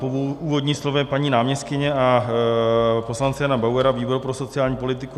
Po úvodním slově paní náměstkyně a poslance Jana Bauera výbor pro sociální politiku